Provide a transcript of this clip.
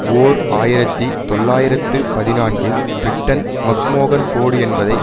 ஓர் ஆயிரத்தி தொள்ளாயிரத்து பதினான்கில் பிரிட்டன் மக்மோகன் கோடு என்பதை